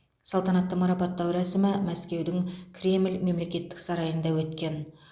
салтанатты марапаттау рәсімі мәскеудің кремль мемлекеттік сарайында өткен